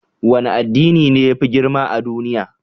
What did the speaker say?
Wane addini ne ya fi girma a duniya?